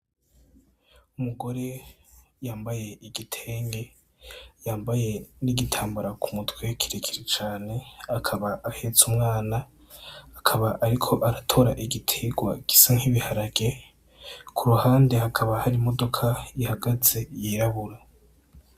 Umugore yambaye igitenge yambaye n'igitambara ku mutwe kirekire cane akaba ahetse umwana akaba ariko aratora igiterwa kimeze nki biharage kuruhande hakaba hari imodoka ihagaze y'irabura.